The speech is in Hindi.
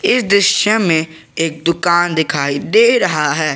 इस दृश्य में एक दुकान दिखाई दे रहा है।